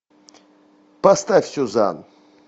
поставь сюзан